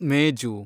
ಮೇಜು